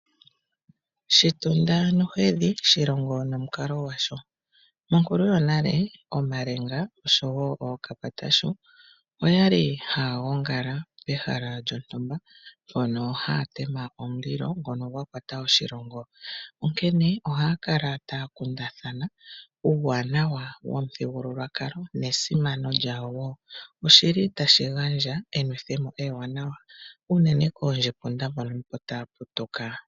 Shitunda nohedhi shilongo nomukalo gwasho. Monkulu yonale omalenga oshowo ookapatashu oyali haya gongala pehala lyontumba. Mpono haya tema omulilo ngono gwa kwata oshilongo. Onkene ohaya kala taya kundathana uuwanawa womithigululwakalo nesimano lyawo wo. Oshili tashi gandja enwethe mo ewanawa unene koondjepunda mbono opo taya putuka.